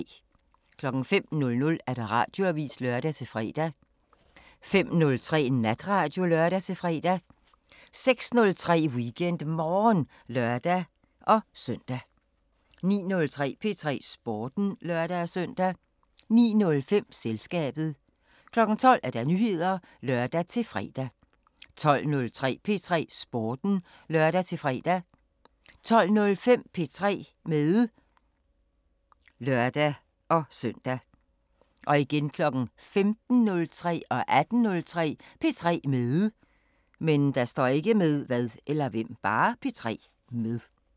05:00: Radioavisen (lør-fre) 05:03: Natradio (lør-fre) 06:03: WeekendMorgen (lør-søn) 09:03: P3 Sporten (lør-søn) 09:05: Selskabet 12:00: Nyheder (lør-fre) 12:03: P3 Sporten (lør-fre) 12:05: P3 med (lør-søn) 15:03: P3 med 18:03: P3 med